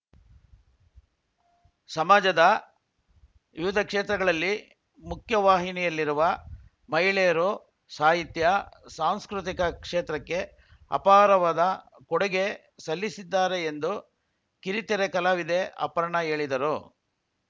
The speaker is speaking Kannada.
ಸಮಾಜದ ವಿವಿಧ ಕ್ಷೇತ್ರಗಳಲ್ಲಿ ಮುಖ್ಯವಾಹಿನಿಯಲ್ಲಿರುವ ಮಹಿಳೆಯರು ಸಾಹಿತ್ಯ ಸಾಂಸ್ಕೃತಿಕ ಕ್ಷೇತ್ರಕ್ಕೆ ಅಪಾರವಾದ ಕೊಡುಗೆ ಸಲ್ಲಿಸಿದ್ದಾರೆ ಎಂದು ಕಿರುತೆರೆ ಕಲಾವಿದೆ ಅಪರ್ಣಾ ಹೇಳಿದರು